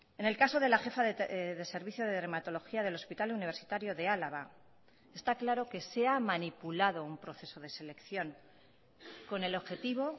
en el caso de la jefa de servicio de dermatología del hospital universitario de álava está claro que se ha manipulado un proceso de selección con el objetivo